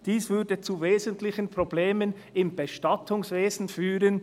Dies würde zu wesentlichen Problemen im Bestattungswesen führen.